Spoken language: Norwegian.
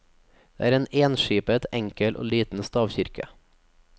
Dette er en enskipet, enkel og liten stavkirke.